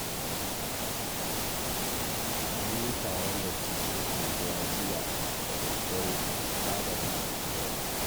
An yi taron dattijan unguwa jiya da daddare a fadar Mai unguwa